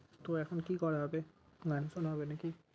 তো এখন কি করা হবে? গান শুনা হবে নাকি?